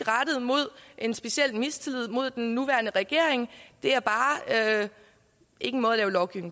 en speciel mistillid rettet mod den nuværende regering det er bare ikke en måde at lovgive